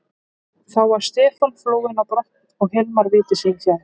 Þá var Stefán flúinn á brott og Hilmar viti sínu fjær.